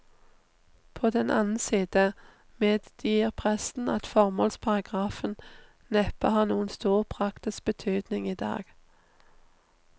På den annen side medgir presten at formålsparagrafen neppe har noen stor praktisk betydning i dag.